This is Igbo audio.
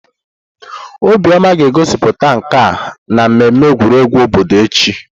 Obioma ga-egosipụta nka ya na mmemme egwuregwu obodo echi.